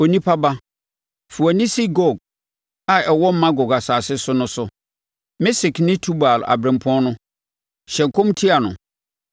“Onipa ba, fa wʼani si Gog, a ɛwɔ Magog asase so no so, Mesek ne Tubal ɔberempɔn no; hyɛ nkɔm tia no